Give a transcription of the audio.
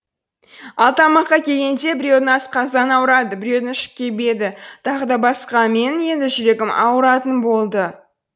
ал тамаққа келгенде біреудің асқазаны ауырады біреудің іші кебеді тағы да басқа менің енді жүрегім ауыратын болды